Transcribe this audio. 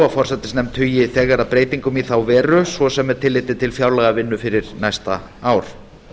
forsætisnefnd hugi þegar að breytingum í þá veru svo sem með tilliti til fjárlagavinnu fyrir næsta ár